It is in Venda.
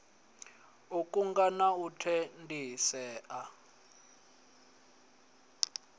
u kunga na u tendisea